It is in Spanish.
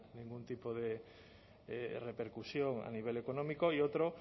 ningún tipo de repercusión a nivel económico y otro